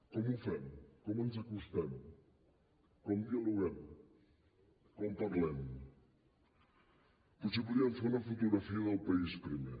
com ho fem com ens acostem com dialoguem com parlem potser podríem fer una fotografia del país primer